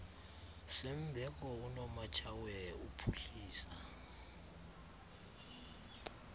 sembeko unomatshawe uphuhlisa